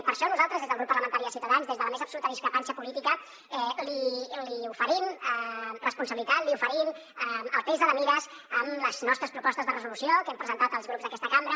per això nosaltres des del grup parlamentari de ciutadans des de la més absoluta discrepància política li oferim responsabilitat li oferim altesa de mires amb les nostres propostes de resolució que hem presentat als grups d’aquesta cambra